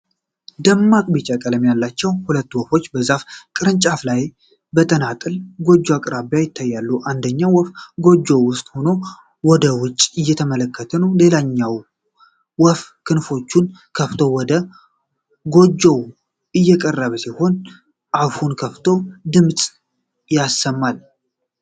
ደማቅ ቢጫ ቀለም ያላቸው ሁለት ወፎች በዛፍ ቅርንጫፍ ላይ በተንጠለጠለ ጎጆ አቅራቢያ ይታያሉ። አንደኛው ወፍ ጎጆው ውስጥ ሆኖ ወደ ውጭ እየተመለከተ ነው። ሌላኛው ወፍ ክንፎቹን ከፍቶ ወደ ጎጆው እየቀረበ ሲሆን፣ አፉን ከፍቶ ድምጽ ያሰማ ል።